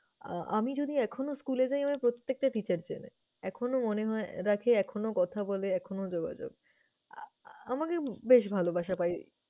আহ আমি যদি এখনো school এ যাই আমায় প্রত্যেকটা teacher চেনে, এখনো মনে হয়~ রাখে, এখনো কথা বলে, এখনো যোগাযোগ। আ~আ~আমাকে বেশ ভালবাসা পাই।